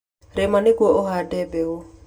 Rĩma nĩguo tũhande mbegũ.